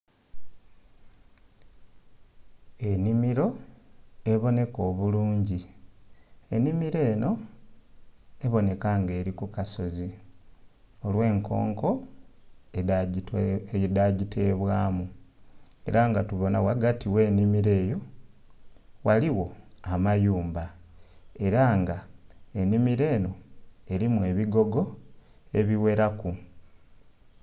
Ennhimiro eboneka obulungi ennhimiro eno eboneka nga eri ku kasozi olw'enkonko edha gitebwamu, era nga tubona ghagati gh'ennhimiro eyo ghaligho amayumba era nga ennhimiro eno erimu ebigogo ebigheraku.